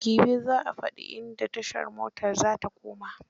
Gibe za a fadi inda tashar motar za ta koma.